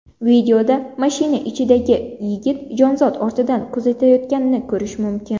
Videoda mashina ichidagi yigit jonzot ortidan kuzatayotganini ko‘rish mumkin.